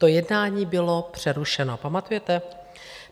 To jednání bylo přerušeno, pamatujete?